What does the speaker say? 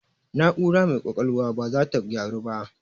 Na'aura mai ƙwaƙwalwan baza ta gyaru ba